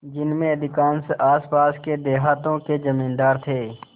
जिनमें अधिकांश आसपास के देहातों के जमींदार थे